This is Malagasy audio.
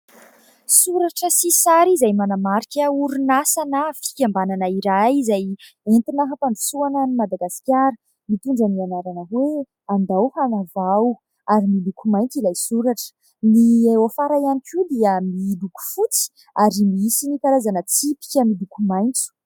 Soratra sy sary izay manamarika orinasa na fikambanana iray izay entina hampandrosoana any Madagasikara. Mitondra ny anarana hoe : "andao hanavao" ary miloko maitso ilay soratra, ny eo afara ihany koa dia miloko fotsy ary misy karazana tsipika miloko maitso.